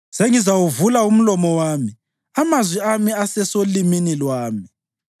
Sengizawuvula umlomo wami; amazwi ami asesolimini lwami.